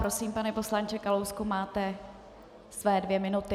Prosím, pane poslanče Kalousku, máte své dvě minuty.